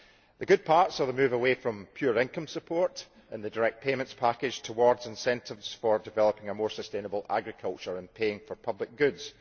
The good parts are the move away from pure income support in the direct payments package towards incentives for developing a more sustainable agriculture and paying for public goods.